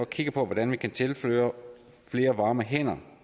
kigge på hvordan vi kan tilføre flere varme hænder